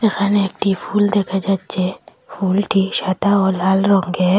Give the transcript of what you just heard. এখানে একটি ফুল দেখা যাচ্ছে ফুলটি সাদা ও লাল রঙ্গের।